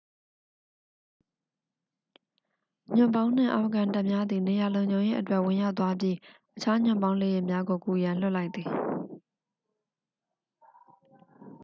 ညွှန့်ပေါင်းနှင့် အာဖဂန်တပ်များသည် နေရာလုံခြုံရေးအတွက် ဝင်ရောက်သွားပြီး အခြား ညွှန့်ပေါင်းလေယာဉ်များကို ကူရန် လွှတ်လိုက်သည်